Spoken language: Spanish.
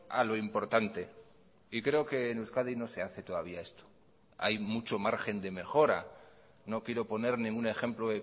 a lo importante y creo que en euskadi no se hace todavía esto hay mucho margen de mejora no quiero poner ningún ejemplo